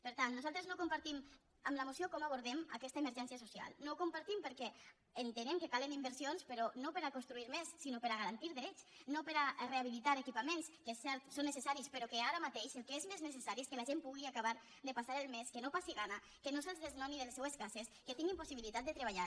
per tant nosaltres no compartim amb la moció com abordem aquesta emergència social no ho compartim perquè entenem que calen inversions però no per a construir més sinó per a garantir drets no per a rehabilitar equipaments que és cert són necessaris però que ara mateix el que és més necessari és que la gent pugui acabar de passar el mes que no passi gana que no se’ls desnoni de les seues cases que tinguin possibilitat de treballar